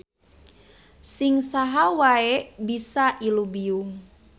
Sing saha wae bisa ilubiung.